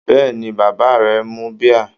Bẹ́ẹ̀ni, bàbá rẹ mu bíà.